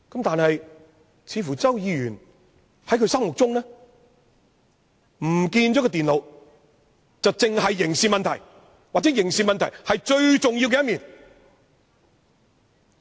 但是，似乎在周議員心目中，電腦遺失只屬刑事問題，又或其刑事問題是最重要的一面。